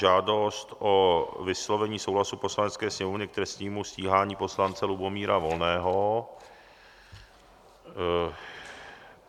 Žádost o vyslovení souhlasu Poslanecké sněmovny k trestnímu stíhání poslance Lubomíra Volného